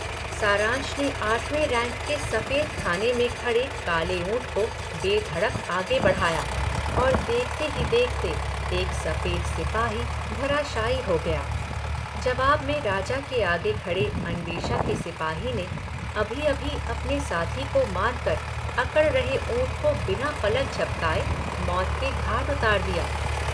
सारंश ने आठवें रैंक के सफेद खाने में खड़े काले ऊंट को बेधड़क आगे बढ़ाया और देखते ही देखते एक सफेद सिपाही धराशायी हो गया – जवाब में राजा के आगे खड़े अन्वेषा के सिपाही ने अभी-अभी अपने साथी को मार कर अकड़ रहे ऊंट को बिना पलक झपकाए मौत के घाट उतार दिया।